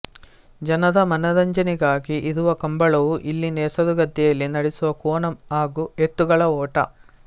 ಜನರ ಮನರಂಜನೆಗಾಗಿ ಇರುವ ಕಂಬಳವು ಇಲ್ಲಿನ ಕೆಸರು ಗದ್ದೆಯಲ್ಲಿ ನಡೆಸುವ ಕೋಣ ಹಾಗೂ ಎತ್ತುಗಳ ಓಟ